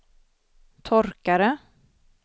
torkare